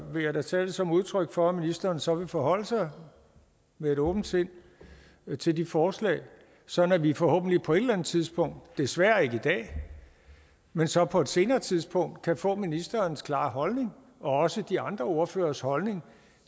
vil jeg da tage det som udtryk for at ministeren så vil forholde sig med et åbent sind til de forslag sådan at vi forhåbentlig på et eller andet tidspunkt desværre ikke i dag men så på et senere tidspunkt kan få ministerens klare holdning og også de andre ordføreres holdning